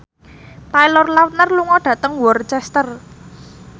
Taylor Lautner lunga dhateng Worcester